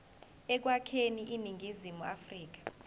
ekwakheni iningizimu afrika